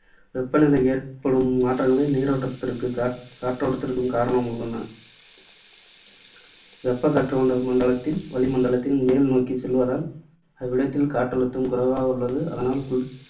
வெப்பநிலையில் ஏற்படும் மாற்றங்களே நீரோட்டத்திற்கு, காற்றோட்டத்திற்கும் காரணமாக உள்ளன. வெப்பக்காற்று மண்டல~ மண்டலத்தில் வளிமண்டலத்தில் மேல் நோக்கிச் செல்வதால் அவ்விடத்தில் காற்றழுத்தம் குறைவாக உள்ளது. அதனால் குளிர்